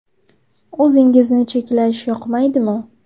O‘zingizni cheklash yoqmaydimi?